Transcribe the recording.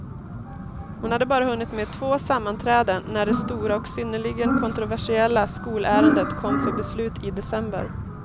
Hon hade bara hunnit med två sammanträden när det stora och synnerligen kontroversiella skolärendet kom för beslut i december.